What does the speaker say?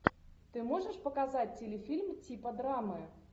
ты можешь показать телефильм типа драмы